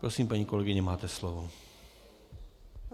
Prosím, paní kolegyně, máte slovo.